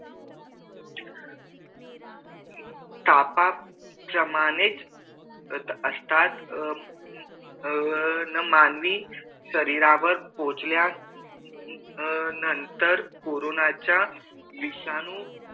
तापाप्रमाणेच असतात अह अह मानवी शरीरावर पोचल्या नंतर अह अह कोरोनाच्या विषाणू